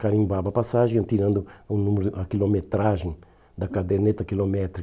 Carimbava a passagem, ia tirando o número a quilometragem da caderneta quilométrica.